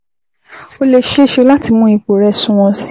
Ó lè ṣeé ṣe láti mú ipò rẹ̀ sunwọ̀n sí i